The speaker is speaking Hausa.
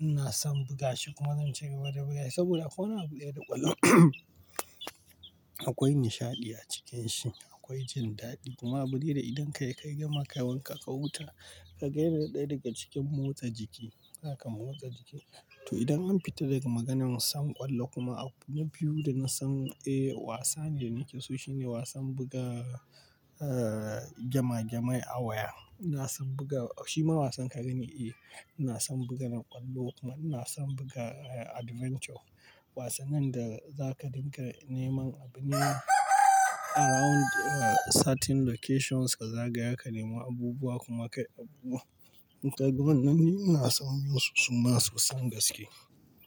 Ina son buga shi kuma zan ci gaba da buga shi saboda akwai wani abudaya da ƙwallon, akwai nishaɗi a cikin shi, akwai jin daɗi kuma bari da idan kai ka yi gama kai wanka ka huta, ka ga irin ɗaya daga cikin motsa jiki, haka motsa jiki. To idan an fita daga maganar son ƙwallo kuma abu na biyu da na san, eh, wasa ne nake so shine wasan buga, eh, gama gama'i a waya. Ina son buga shi ma wasan ka gani, eh, ina son bugan ƙwallo kuma ina son buga adventure. Wasannin da za ka riƙa neman abu ne around certain locations ka zagaya ka nemi abubuwa kuma kai abu. Daga wannan ni ina son su masu son gaske.